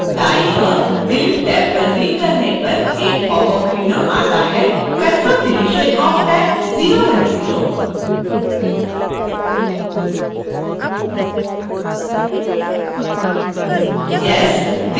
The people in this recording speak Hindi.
दाई ओर delete टैब पर क्लिक कर करने पर एक popअप window at है: